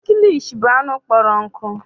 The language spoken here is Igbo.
Kilishi bụ anụ kpọrọ nkụ.